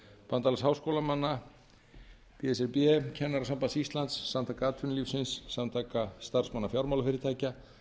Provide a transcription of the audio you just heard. bandalags háskólamanna b s r b kennarasambands íslands samtaka atvinnulífsins samtaka starfsmanna fjármálafyrirtækja